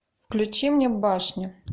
включи мне башня